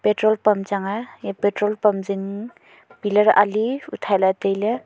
patrol pump chang aa ya patrol pump zing pillar ali uthaila tailey.